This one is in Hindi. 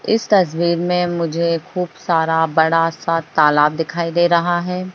इस तस्वीर में मुझे खूब सारा बड़ा सा तालाब दिखाई दे रहा है।